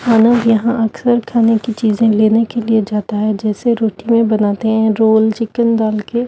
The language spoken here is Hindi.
मानव यहां अक्सर खाने की चीजें लेने के लिए जाता है जैसे रोटी में बनाते हैं रोल चिकन डाल के--